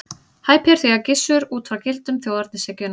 Hæpið er því að dæma Gissur út frá gildum þjóðernishyggjunnar.